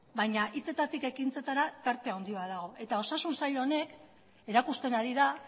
baino hitzetatik ekintzetara tarte handia dago eta osasun sail honek erakusten ari da